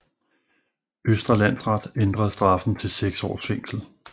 Østre Landsret ændrede straffen til 6 års fængsel